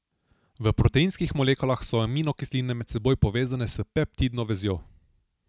V proteinskih molekulah so aminokisline med seboj povezane s peptidno vezjo.